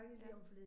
Ja